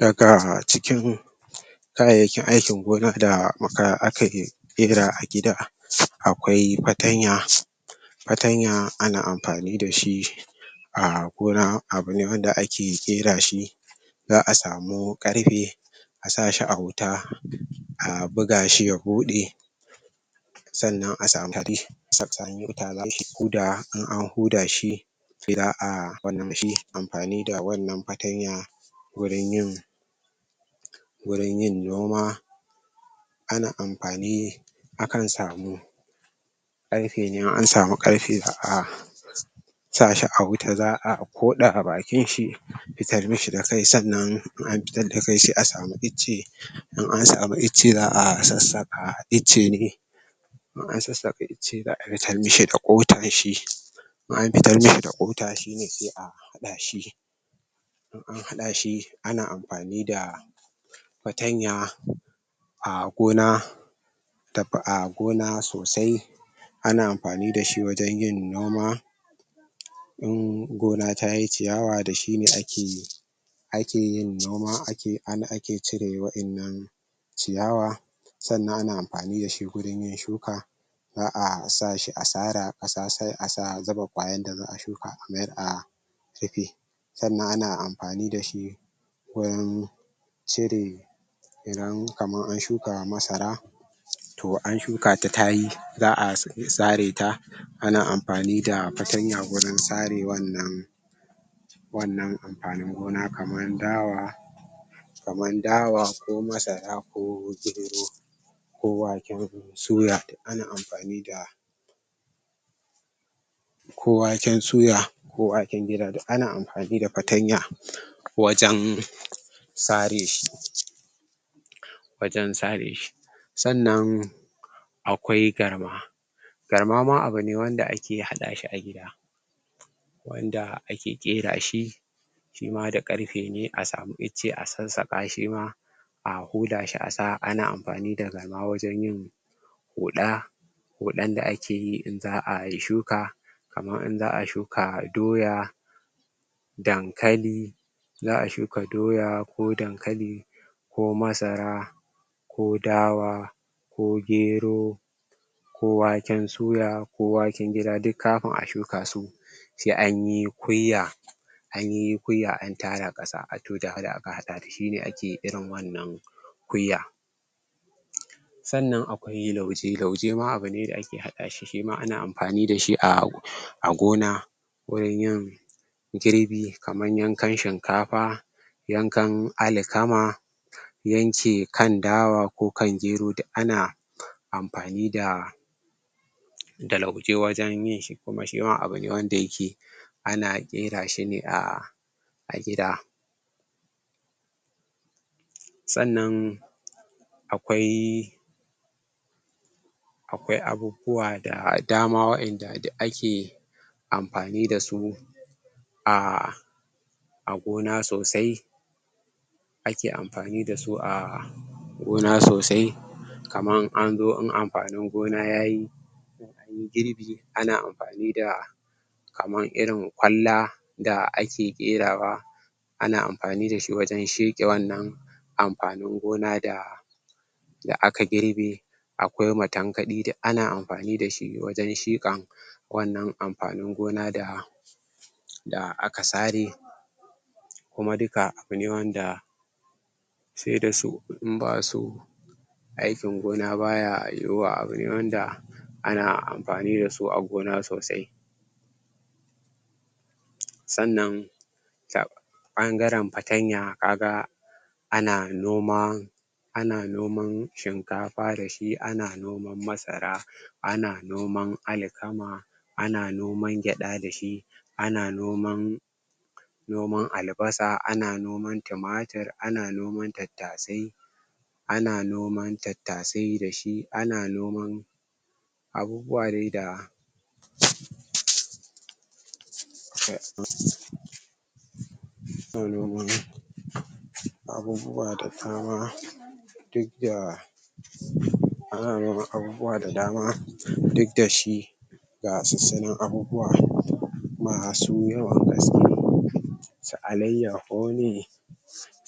Daga cikin kayayyakin aikin gona da aka muka akaɗe ƙera a gida akwai fatanya Fantanya ana amfani da shi a gona abune wanda ake ƙera shi za’a samu ƙarfe a sa shi a wuta a buga shi ya bude sannan a samu sannan koda an huda shi za’a huda shi amfani da wannan fatanya wurin yin wurin yin noma ana amfani akan samu ƙarfe ne in an samu ƙarfe sai a sa shi a wuta za’a Koɗa bakin shi a fitar mashi da kai sannan in an fitar da kai sai a samu ice in an samu ice za’a za’a sassaka ice ne in an sassaka ice zaa fitar mashi da kotan shi in an fitar mashi da kota shine sai a hada shi in an hada shi ana amfani da fatanya a gona da a gona sosai ana amfani da shi wajen yin noma In gona ta yi ciyawa da shi ne ake yin ake yin noma ana ake cire wadannan ciyawa sannan ana amfani da shi gurin yin shuka za’a sa shi a sara kasa sai a sa zuba kwayan da za’a shuka a a rufe sannan ana amfani da shi wurin cire idan kaman an shuka masara Toh an shuka ta ta yi zaa sare ta ana amfani da fatanya wurin sare wannan wannan amfanin gona kaman dawa kaman dawa ko masara ko gero waken suya duk ana amfani da ko waken suya ko waken gida duk ana amfani da fatanya wajen sare shi wajen sare shi sannan akwai garma garma ma abune ne wanda ake hada shi wanda ake ƙera shi Shima da ƙarfe ne a samu ice a sassaka Shima a huda shi a sa a Ana amfani da garma wajen yin huɗa huɗan da akeyi in za’ayi shuka kaman in za’a shuka doya dankali za’a shuka doya ko dankali ko masara ko dawa ko gero ko waken suya ko waken gida duk kafin a shuka su sai anyi kwiya anyi kwiya an tara kasa to da shi ne ake irin wannan kwiya sannan akwai lauje lauje Shima abune da ake hada shi shi ma ana amfani da shi a gona wurin yin girbi kaman yankan shinkafa yankan alkama yanke kan dawa ko kan gero duk ana amfani da lauje wajen yin shi kuma shima abune wanda yake ana ƙera shi ne a gida sannan akwai akwai abubuwa da dama wa’inda duk ake amfani dasu ahh gona sosai amfani da su ahh gona sosai kaman anzo in amfanin gona yayi in anyi girbi ana amfani da kaman irin kwalla da ake ƙerawa ana amfani dashi wajen sheke wannan amfanin gona da da aka girbe akwai matankadi duk ana amfani da shi wajen shukan wannan amfanin gona da da aka sare kuma duka abune wanda sai da su in ba su aikin gona baya yiwuwa abune wanda ana amfani da su a gona sosai sannan bangaren fatanya ka ga ana noman ana noman shinkafa da shi ana noman masara ana noman alkama ana noman gyada da shi ana noman noman albasa ana noman tumatur ana noman tattasai ana noman Tattasai da shi ana noman abubuwa dai da ana noman abubuwa da dama ana noman abubuwa da dama duk da ana noman abubuwa da dama duk da shi ba sansanin abubuwa masu yawan gaske su alaiyahu ne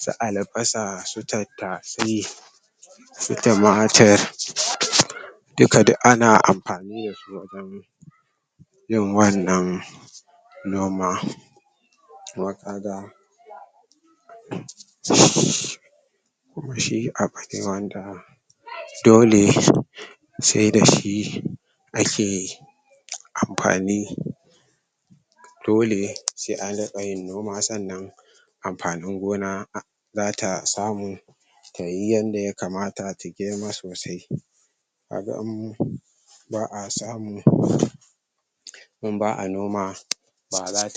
su albasa su tattasai su tumatur duka duk ana amfani dasu wajen yin wannan noma amma?? shi abune wanda dole sai da shi ake amfani dole sai a rinƙa yin noma sannan amfanin gona zata samu tayi yanda ya kamata t girma sosai ta ɗanyi kyau baa samu in in ba'a noma baza ta